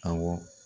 Awɔ